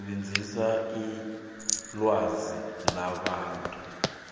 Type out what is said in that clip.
sebenzisa ilwazi labantu